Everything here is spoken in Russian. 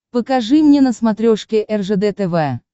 покажи мне на смотрешке ржд тв